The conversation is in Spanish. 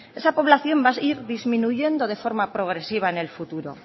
esa población va a ir disminuyendo de forma progresiva en el futuro